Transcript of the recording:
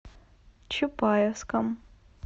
чапаевском